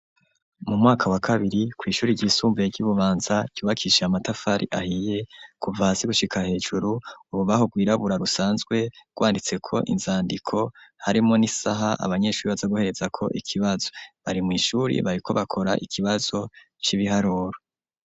Mu mwaka wa kabiri ku ishuri ry'isumbaye ry'ibubanza ryubakishe amatafari ahiye kuvasi gushika hejuru ubu baho bwirabura rusanzwe rwanditse ko inzandiko harimo n'isaha abanyeshuri baza guhereza ko ikibazo bari mu ishuri bari ko bakora ikibazo c'ibiharoro.